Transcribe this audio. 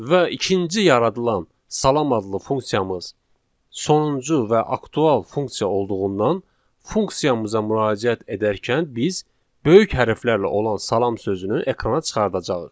Və ikinci yaradılan salam adlı funksiyamız sonuncu və aktual funksiya olduğundan funksiyamıza müraciət edərkən biz böyük hərflərlə olan salam sözünü ekrana çıxaracağıq.